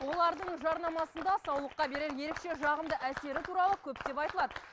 олардың жарнамасында саулыққа берер ерекше жағымды әсері туралы көптеп айтылады